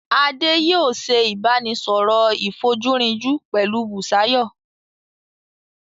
Adé yòó se ìbánisọ̀rọ̀ ìfojúrinjú pẹ̀lú Busayo.